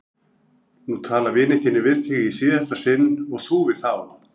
Nú tala vinir þínir við þig í síðasta sinn og þú við þá!